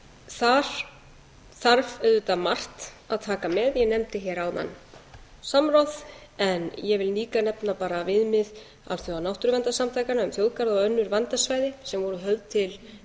þar þarf auðvitað margt að taka með ég nefndi hér áðan samráð en ég vil líka nefna bara viðmið alþjóðanáttúruverndarsamtakanna um þjóðgarða og önnur verndarsvæði sem voru